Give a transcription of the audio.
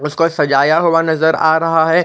उसको सजाय हुआ नज़र आ रहा हैं।